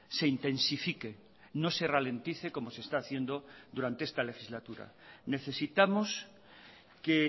se intensifique no se ralentice como se está haciendo durante esta legislatura necesitamos que